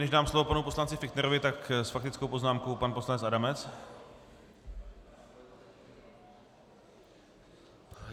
Než dám slovo panu poslanci Fichtnerovi, tak s faktickou poznámkou pan poslanec Adamec.